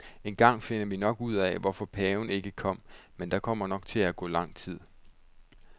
Engang finder vi nok ud af, hvorfor paven ikke kom, men der kommer til at gå lang tid.